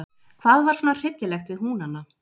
Hvað var svona hryllilegt við Húnana?